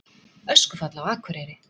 Öskufall á Akureyri